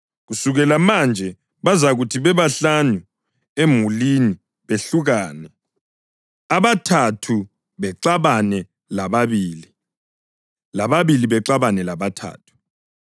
Kusukela manje bazakuthi bebahlanu emulini behlukane, abathathu bexabana lababili, lababili bexabana labathathu.